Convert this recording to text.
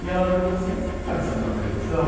E ela virou e falou assim, você apareceu na televisão?